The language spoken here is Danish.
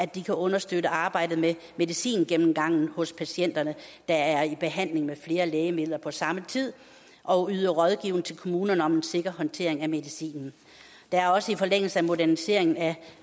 de kan understøtte arbejdet med medicingennemgangen hos patienterne der er i behandling med flere lægemidler på samme tid og yde rådgivning til kommunerne om en sikker håndtering af medicinen der er også i forlængelse af moderniseringen af